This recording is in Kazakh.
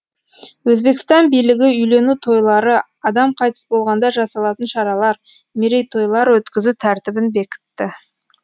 өзбекстан билігі үйлену тойлары адам қайтыс болғанда жасалатын шаралар мерейтойлар өткізу тәртібін бекітті